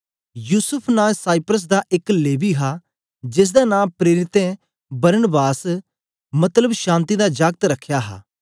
युसूफ नां साइप्रस दा एक लेवी हा जेसदा नां प्रेरितें बरनबास मतलब शांति दा जाकत रखया हा